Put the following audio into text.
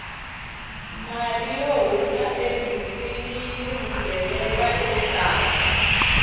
mali yo huma ebindzwini yini vugevenga xikarhi